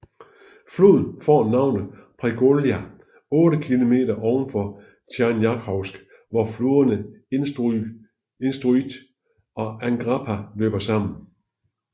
Floden får navnet Pregolja 8 km ovenfor Tjernjakhovsk hvor floderne Instrutj og Angrapa løber sammen